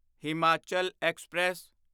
Himachal express